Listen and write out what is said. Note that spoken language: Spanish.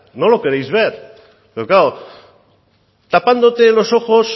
no lo queréis ver pero claro tapándote los ojos